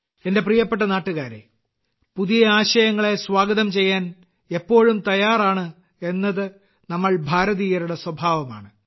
എന്റെ പ്രിയപ്പെട്ട നാട്ടുകാരെ പുതിയ ആശയങ്ങളെ സ്വാഗതം ചെയ്യാൻ എപ്പോഴും തയ്യാറാണ് എന്നത് നമ്മൾ ഭാരതീയരുടെ സ്വഭാവമാണ്